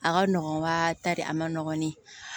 A ka nɔgɔn wa ta de a ma nɔgɔn